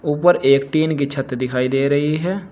ऊपर एक टिन की छत दिखाई दे रही है।